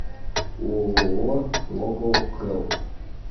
ооо локохелп